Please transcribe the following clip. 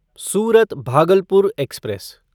Surat Bhagalpur express